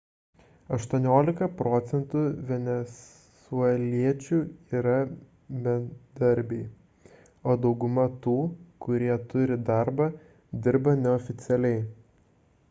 18 procentų venesueliečių yra bedarbiai o daugumą tų kurie turi darbą dirba neoficialiai